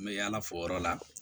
N bɛ yaala fo yɔrɔ la